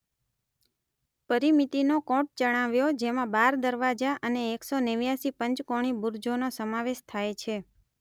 પરીમીતીનો કોટ ચણાવ્યો જેમાં બાર દરવાજા અને એક સો નેવ્યાસી પંચકોણી બુરજોનો સમાવેશ થાય છે.